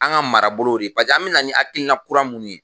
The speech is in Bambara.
An ka marabolo de ye paseke an be na ni akilina kura mun ye